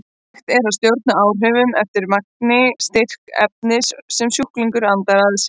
Hægt er að stjórna áhrifunum eftir magni og styrk efnis sem sjúklingur andar að sér.